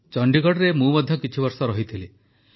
ଚଣ୍ଡିଗଡ଼ରେ ମୁଁ ମଧ୍ୟ କିଛି ବର୍ଷ ରହିଥିଲି